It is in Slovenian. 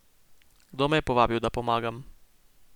Kdo me je povabil, da pomagam?